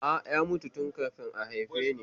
A'a, ya mutu tun kafin a haife ni